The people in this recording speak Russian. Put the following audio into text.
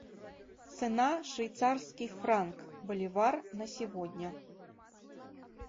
цена швейцарский франк боливар на сегодня